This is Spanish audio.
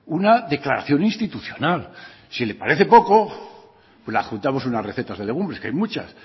una declaración institucional si le parece poco le adjuntamos unas recetas de legumbres que hay muchas